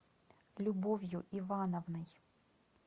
любовью ивановной